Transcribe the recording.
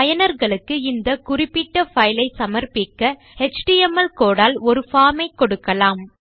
பயனர்களுக்கு இந்த குறிப்பிட்ட பைலை சமர்ப்பிக்க எச்டிஎம்எல் கோடு ஆல் ஒரு பார்ம் ஐ கொடுக்கலாம்